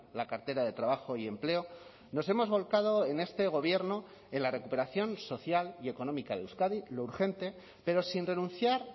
la cartera de trabajo y empleo nos hemos volcado en este gobierno en la recuperación social y económica de euskadi lo urgente pero sin renunciar